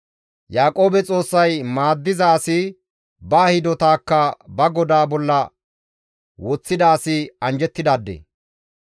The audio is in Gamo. Yaaqoobe Xoossay maaddiza asi ba hidotakka ba GODAA bolla woththida asi anjjettidaade.